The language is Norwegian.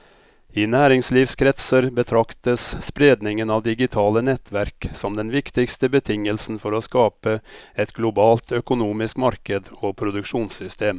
I næringslivskretser betraktes spredningen av digitale nettverk som den viktigste betingelsen for å skape et globalt økonomisk marked og produksjonssystem.